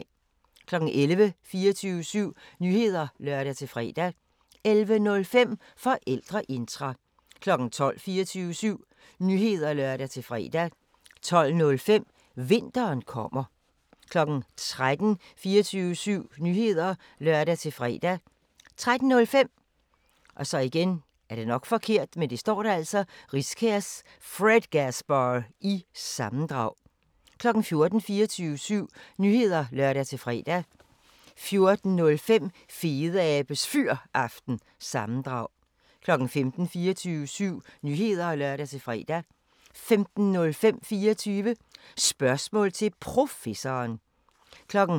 11:00: 24syv Nyheder (lør-fre) 11:05: Forældreintra 12:00: 24syv Nyheder (lør-fre) 12:05: Vinteren kommer 13:00: 24syv Nyheder (lør-fre) 13:05: Riskærs Fredgasbar- sammendrag 14:00: 24syv Nyheder (lør-fre) 14:05: Fedeabes Fyraften – sammendrag 15:00: 24syv Nyheder (lør-fre) 15:05: 24 Spørgsmål til Professoren